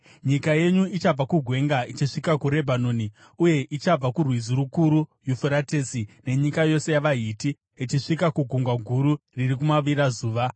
Nyika yenyu ichabva kugwenga ichisvika kuRebhanoni, uye ichabva kurwizi rukuru, Yufuratesi, nenyika yose yavaHiti, ichisvika kuGungwa Guru riri kumavirazuva.